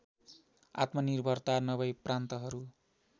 आत्मनिर्भरता नभई प्रान्तहरू